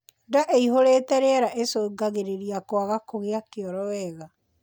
Ndaa iihurite rĩera icungagirirĩa kwaga kugia kioro wega